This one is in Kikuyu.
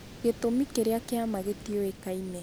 Gĩtũmi kĩrĩa kĩama gĩtiũĩkaine